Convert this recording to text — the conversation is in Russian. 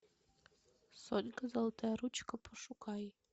сонька золотая ручка пошукай